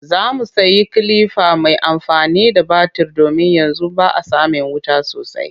Za mu sayi kilifa mai amfani da batir domin yanzu ba a samin wuta sosai